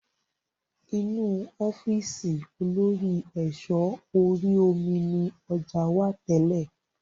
Inu ọ́fíìsì olórí ẹ̀sọ́ orí omi ni ọjà wá tẹ́lé